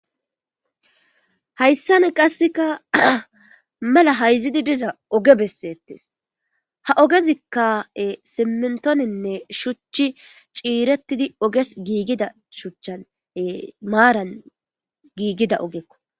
Hayssan qassikka mela hayzidi diza oge bessetes. Ha ogezikka simmintoninne shuchchi ciiretidi oges giigida shuchchan maran giigida ogekko.